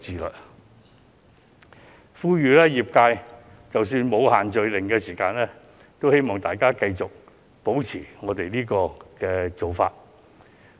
我在此呼籲業界，即使"限聚令"取消，亦應繼續採取上述措施。